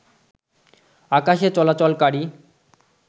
আকাশে চলাচলকারী